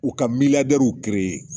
U ka